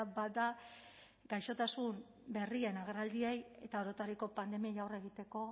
bat da gaixotasun berrien agerraldiei eta orotariko pandemiei aurre egiteko